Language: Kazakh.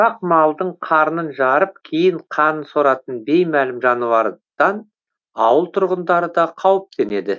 ұсақ малдың қарнын жарып кейін қанын соратын беймәлім жануардан ауыл тұрғындары да қауіптенеді